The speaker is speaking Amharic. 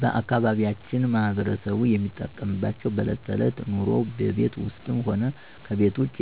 ባአካባቢያችን ማህበረሰቡ የሚጠቀምባቸው በእለት ተእለት ኑሮው በቤት ውስጥም ሆነ ከቤት ውጭ